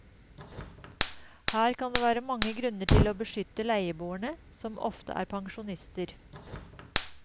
Her kan det være mange grunner til å beskytte leieboerne, som ofte er pensjonister.